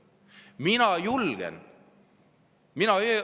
Mina julgen.